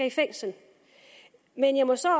i fængsel men jeg må så